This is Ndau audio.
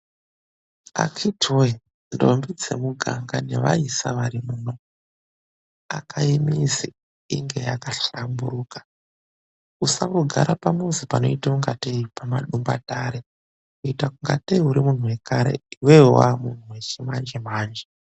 Akhiti woye, ndombi dzemuganga nevaisa varimuno, akayi mizi inge yakahlamburuka. Usangogara pamuzi panoitangatei pamadumbatare, kuita ingateyi uri muntu wekare, iwewe wave munthu wechimanje -manje.